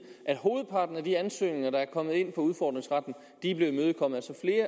at hovedparten af de ansøgninger der er kommet ind på udfordringsretten er blevet imødekommet